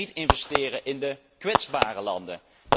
Wij gaan niet investeren in de kwetsbare landen.